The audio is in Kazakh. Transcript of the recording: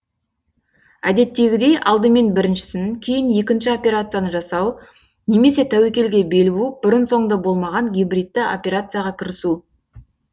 әдеттегідей алдымен біріншісін кейін екінші операцияны жасау немесе тәуекелге бел буып бұрын соңды болмаған гибридті операцияға кірісу